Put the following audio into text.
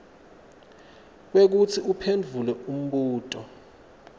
kwekutsi uphendvule umbuto